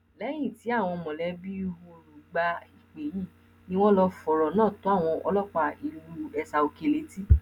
lẹyìn tí àwọn mọlẹbí ọoru gba ìpè yìí ni wọn lọọ fọrọ náà tó àwọn ọlọpàá ìlú esaòkè létí